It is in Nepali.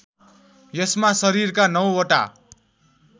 यसमा शरीरका नौवटा